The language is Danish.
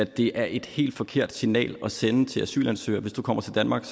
det er et helt forkert signal at sende til asylansøgere hvis du kommer til danmark